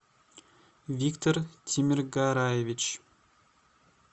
виктор тимиргараевич